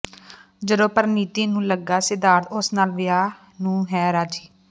ਜਦੋਂ ਪਰਿਣੀਤੀ ਨੂੰ ਲੱਗਾ ਸਿਧਾਰਥ ਉਸ ਨਾਲ ਵਿਆਹ ਨੂੰ ਹੈ ਰਾਜ਼ੀ